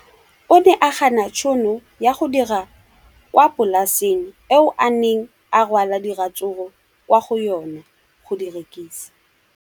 O ne a gana tšhono ya go dira kwa polaseng eo a neng rwala diratsuru kwa go yona go di rekisa.